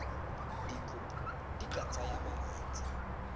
dikopo di ka tsaya malatsi